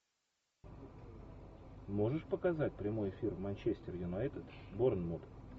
можешь показать прямой эфир манчестер юнайтед борнмут